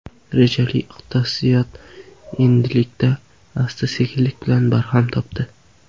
Rejali iqtisodiyot endilikda asta-sekinlik bilan barham topdi.